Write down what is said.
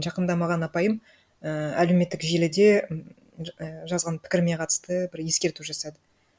жақында маған апайым ііі әлеуметтік желіде і жазған пікірме қатысты бір ескерту жасады